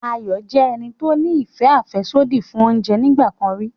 Ayọ̀ jẹ́ ẹni tó ní ìfẹ́ àfẹ́sódì fún oúnjẹ nígbà kan rí